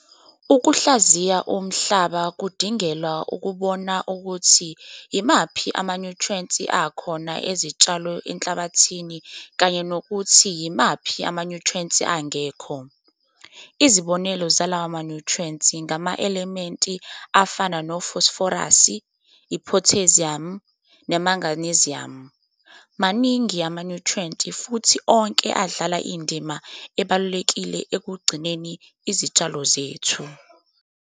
Ukuhlaziya umhlaba kudingelwa ukubona ukuthi yimaphi amanyuthriyenti akhona ezitshalo enhlabathini kanye nokuthi yimaphi amanyuthriyenti angekho. Izibonelo zalawo manyuntrhiyenti ngama-elementi afana nofosiforasi, iphotheziyamu, nemaginiziyamu. Maningi amanyuthriyenti futhi onke adlala indima ebalulekile ekugcineni izitshalo zethu.